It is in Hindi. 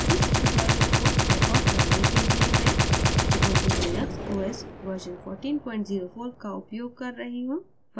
इस tutorial को record करने के लिए मैं ubuntu linux os वर्ज़न 1404 का उपयोग कर रही हूँ